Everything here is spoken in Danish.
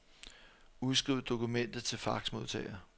Udskriv dokumentet til faxmodtager.